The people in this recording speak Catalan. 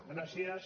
gràcies